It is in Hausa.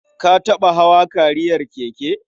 Ka taɓa hawa kariyar keke?